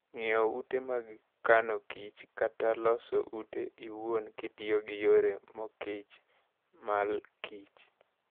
Ng'iewo ute mag kano kich, kata loso utego iwuon kitiyo gi yore mokichr malkich.